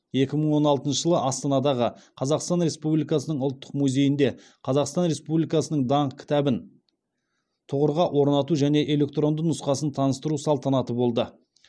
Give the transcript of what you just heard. екі мың он алтыншы жылы астанадағы қазақстан республикасының ұлттық музейінде қазақстан республикасының даңқ кітабын тұғырға орнату және электронды нұсқасын таныстыру салтанаты болды